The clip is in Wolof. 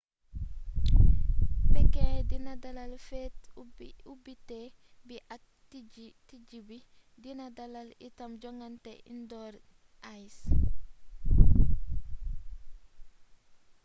pékin dina dalal feet ubbité bi ak tëjbi dina dalal itam jongaante indoor ice